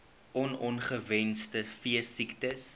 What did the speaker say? on ongewenste veesiektes